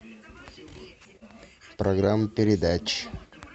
программа передач